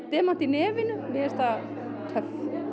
demant í nefinu mér finnst það töff